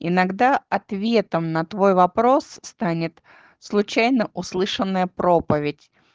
иногда ответом на твой вопрос станет случайно услышанная проповедь